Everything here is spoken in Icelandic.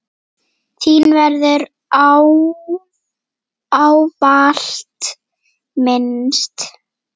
Þín verður ávallt minnst.